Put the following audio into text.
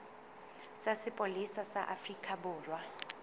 sa sepolesa sa afrika borwa